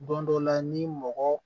Don dɔ la ni mɔgɔ